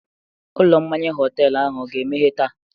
Ụlọ mmanya họtelu ahụ a ga-emeghe taa?